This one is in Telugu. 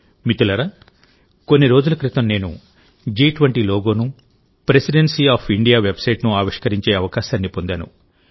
మిత్రులారాకొన్ని రోజుల క్రితం నేను జి20 లోగోను ప్రెసిడెన్సీ ఆఫ్ ఇండియా వెబ్సైట్ను ఆవిష్కరించే అవకాశాన్ని పొందాను